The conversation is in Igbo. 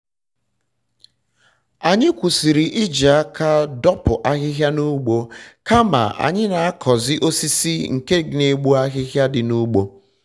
anyị kwụsịrị iji aka dopụ ahịhịa n'ugbo kama anyị na-akọzị osisi nke n'egbu ahịhịa dị n'ugbo